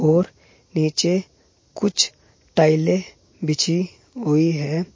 और नीचे कुछ टाइले बिछी हुई है।